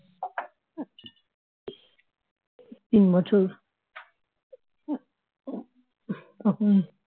তিন বছর তখন